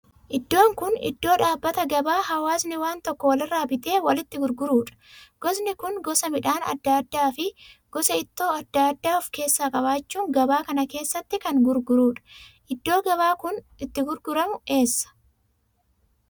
Iddoon kun iddoo dhaabbata gabaa hawaasni waan tokko walirraa bitee walitti gurguruudha gosni kun gosa midhaan adda addaa fi gosa ittoo adda addaa of keessaa qabaachuungabaa kana keessatti kan gurguruudha. iddoo gabaan kun itti gurguramu eessa?